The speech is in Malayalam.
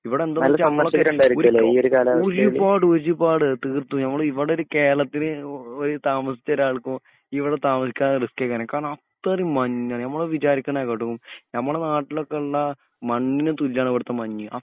ഇവിടന്ത ഒരുപാട് ഒരുപാട് തീർത്തുംഇവിടൊരു കേരളത്തില്താമസിച്ച ഒരാൾക്കോ ഇവ്ടെ താമസിക്കാൻ റിസ്‌കെർക്കും കാരണം അത്രിം മഞ്ഞാണ് നമ്മൾ വിജാരികനെകാട്ടിലും നമ്മടെ നാട്ടിലൊക്കെ ഉള്ള മണ്ണിന് തുല്യണ് ഇവടത്തെ മഞ്ഞ്